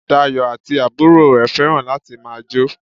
Dayọ̀ àti àbúrò rẹ̀ fẹ́ràn láti ma jo